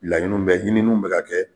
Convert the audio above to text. Laɲiniw bɛ hininiw bɛ ka kɛ